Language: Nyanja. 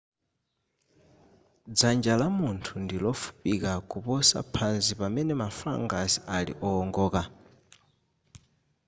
dzanja la munthu ndilofupika kuposa phazi pamene ma phalanges ali owongoka